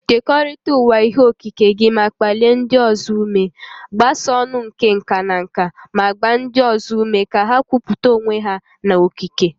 Kekọrịta ụwa ihe okike gị ma kpalie ndị ọzọ ume. Gbasaa ọn̄ụ nke nka na nka ma gbaa ndị ọzọ ume ka ha kwupụta onwe ha na okike.